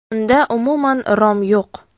Unda umuman rom yo‘q.